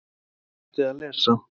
Hún hætti að lesa.